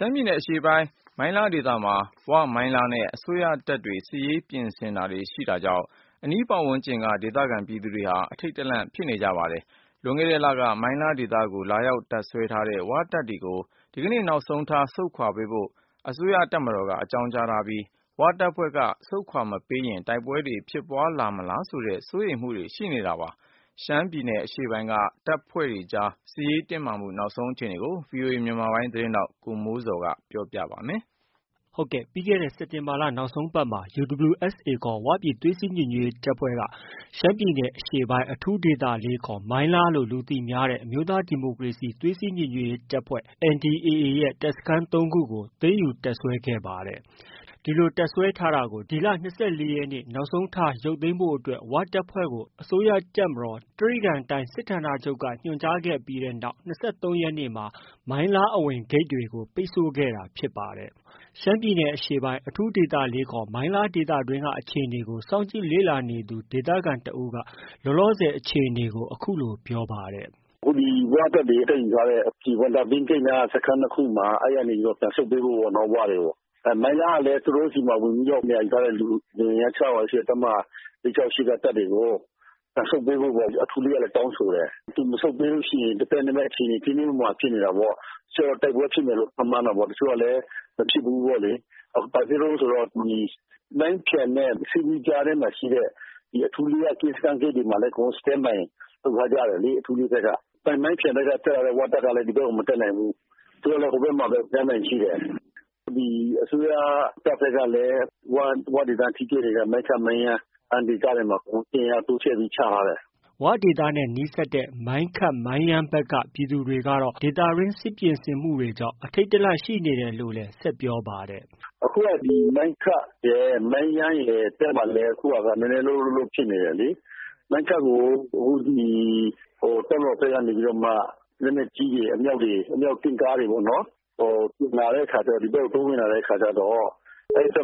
ှမ်းပြည်နယ်အရှေ့ပိုင်း မိုင်းလားဒေသမှာ ဝ၊ မိုင်းလားနဲ့ အစိုးရတပ်တွေ စစ်ရေးပြင်ဆင်တာတွေရှိတာကြောင့် အနီးပတ်ဝန်းကျင်က ဒေသခံပြည်သူတွေဟာ အထိတ်တလန့်ရှိနေကြပါတယ်။ လွန်ခဲ့တဲ့လက မိုင်းလားဒေသတွင်းကို လာရောက်တပ်စွဲထားတဲ့ ဝတပ်တွေကို ဒီကနေ့ နောက်ဆုံးထားဆုတ်ခွာဖို့အတွက် အစိုးရတပ်မတော်က အကြောင်းကြားထားပြီးဝတပ်ဖွဲ့က ဆုတ်ခွာမပေးရင် တိုက်ပွဲတွေ ဖြစ်ပွားလာမလားဆိုပြီး စိုးရိမ်တာတွေလည်း ရှိနေပါတယ်။ ရှမ်းပြည်နယ်အရှေ့ပိုင်းက ဝ၊ မိုင်းလားနဲ့ အစိုးရတပ်အကြားဖြစ်ပေါ်နေတဲ့ နောက်ဆုံး အခြေအနေကို ဗွီအိုအေမြန်မာပိုင်းရဲ့ သတင်းထောက် ကိုမိုးဇော်က တင်ပြထားပါတယ်။ စက်တင်ဘာလ နောက်ဆုံးပတ်မှာ UWSA ခေါ် ဝပြည်သွေးစည်းညီညွတ်ရေးတပ်ဖွဲ့က မိုင်းလားလို့ လူသိများတဲ့ အမျိုးသားဒီမိုကရေစီသွေးစည်းညီညွတ်ရေးတပ်ဖွဲ့ NDAA တပ်စခန်း၃ခုကို သိမ်းယူတပ်စွဲခဲ့တာဖြစ်ပါတယ်။ ဒီလို တပ်စွဲထားတာကို ဒီလ ၂၄ရက်နေ့ နောက်ဆုံးထားရုတ်သိမ်းဖို့အတွက် ဝတပ်ဖွဲ့ကို အစိုးရတပ်မတော် တြိဂံတိုင်းစစ်ဌာနချုပ်က ညွှန်ကြားခဲ့ပြီးနောက် ၂၃ရက်နေ့မှာ မိုင်းလားအဝင်ဂိတ်တွေကို ပိတ်ဆို့ခဲ့တာဖြစ်ပါတယ်။ လောလော ရှမ်းပြည်နယ်အရှေ့ပိုင်း အထူး၄ ခေါ် မိုင်းလားဒေသတွင်းအခြေအနေကို စောင့်ကြည့် လေ့လာနေသူ ဒေသခံတဦးက အခုလို ပြောပါတယ်။ “အခုဒီ ဝတပ်တွေသိမ်းယူထားတဲ့ မိုင်းခတ် နားက စခန်း ၂ ခုမှာ ပြန်ဆုတ်ပေးဖို့ပေါ့နော် ဝတွေကို ။ မိုင်းလားကလား သူတို့ဆီမှာ ဝင်ပြီးတော့ နေရာယူထားတဲ့ လူအင်အား ၆၀၀ ရှိတဲ့ တပ်မ ၄၆၈ က တပ်တွေကို ပြန်ဆုတ်ပေးဖို့တောင်းဆိုတယ်။ ပြန်မဆုတ်ရင် သဲသဲမဲမဲ အခြေအနေ တင်းတင်းမာမာဖြစ်နေတာပေါ့။ တချို့လည်း တိုက်ပွဲဖြစ်မယ်လို့ ခန့်မှန်းတယ်။ တချို့ကလည်း မဖြစ်ဘူးပေါ့လေ။ ဘာဖြစ်လို့လဲဆိုတော့ မိုင်းဖျန် ၊ ဆီးလူး ကြား မှာရှိတဲ့ အထူး ၄ က ဂိတ်တွေမှာလည်း standby လုပ်ထားတယ်လေ အထူး၄ က။ မိုင်းဖျန်ဘက်က ဝတပ်ကလည်း ဒီဘက်ကို မတက်နိုင်ဘူး။ သူတို့လည်း ဟိုဘက်ကမှာ standby ရှိတယ်။ဒီအစိုးရ တပ်ဘက်ကလည်း ဝဒေတ ထိတွေ့နေတဲ့ မိုင်းခတ်၊ မိုင်းယန်းအဲဒီနေရာတွေမှာ အင်အားတိုးချဲ့ပြီး ချထားတယ်။” ဝဒေသနဲ့နီးစပ်တဲ့ မိုင်းခတ်၊ မိုင်းယန်းဖက်က ပြည်သူတွေဟာ ဒေသတွင်း စစ်ပြင်ဆင်မှုတွေကြောင့် အထိတ်တလန့်ရှိနေကြတယ်လို့လည်း ဆက်ပြောပါတယ်။ “အခုဒီ မိုင်းခတ်၊ မိုင်းယန်းဖက်မှာလည်း အခုက နည်းနည်းလုှပ်လှုပ်ဖြစ်နေတယ်။မိုင်းခတ်ကို တပ်မတော်ဘက်ကနေပြီးတော့မှ လက်နက်ကြီးတွေ ၊ အမြောက်တင်ကားတွေ ဒီဘက်ကို တိုးဝင်လာတဲ့ အဲဒီဘက်